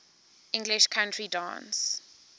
english country dance